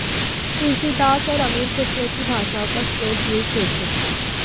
तुलसीदास और अमीर खुसरो की भाषाओं का स्रोत यही क्षेत्र था